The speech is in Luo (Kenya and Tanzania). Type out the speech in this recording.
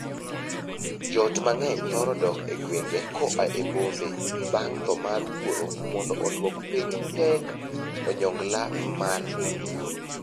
Joot mang'eny thoro dok e gwenge koa e bombe bang' thoo mar wuoro mondo oduok piny pek onyongla mar ngima.